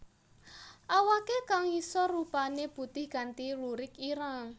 Awake kang ngisor rupané putih kanthi lurik ireng